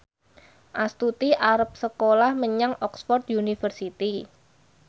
Astuti arep sekolah menyang Oxford university